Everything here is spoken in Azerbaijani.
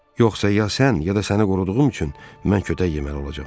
Yoxsa ya sən, ya da səni qoruduğum üçün mən kötək yeməli olacam.